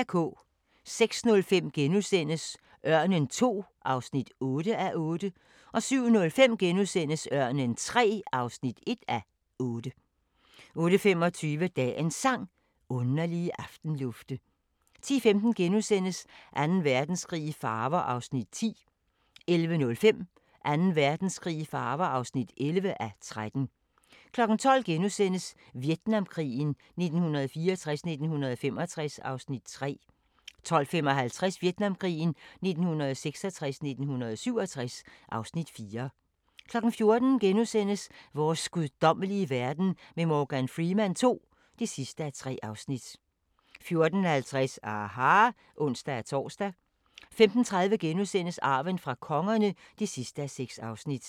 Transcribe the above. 06:05: Ørnen II (8:8)* 07:05: Ørnen III (1:8)* 08:25: Dagens Sang: Underlige aftenlufte 10:15: Anden Verdenskrig i farver (10:13)* 11:05: Anden Verdenskrig i farver (11:13) 12:00: Vietnamkrigen 1964-1965 (Afs. 3)* 12:55: Vietnamkrigen 1966-1967 (Afs. 4) 14:00: Vores guddommelige verden med Morgan Freeman II (3:3)* 14:50: aHA! (ons-tor) 15:30: Arven fra kongerne (6:6)*